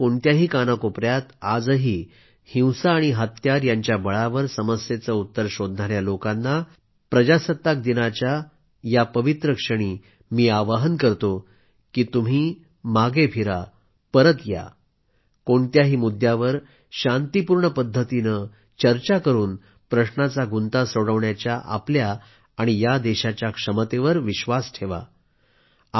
देशाच्या कोणत्याही कानाकोपयात आजही हिंसा आणि हत्यार यांच्या बळावर समस्येचे उत्तर शोधणाया लोकांना आजच्या प्रजासत्ताक दिनाच्या पवित्र काळात आवाहन करतो की तुम्ही मागे फिरा परत या कोणत्याही मुद्यांवर शांतीपूर्ण पद्धतीने चर्चा करून प्रश्नाचा गंुता सोडवण्याच्या आपल्या आणि या देशाच्या क्षमतेवर भरवसा ठेवा